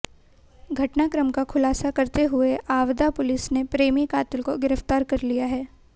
घटनाक्रम का खुलासा करते हुए आवदा पुलिस ने प्रेमी कातिल को गिरप्तार कर लिया है